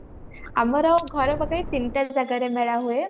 ଆମର ଘର ପାଖରେ ତିନିଟା ଜାଗାରେ ମେଳା ହୁଏ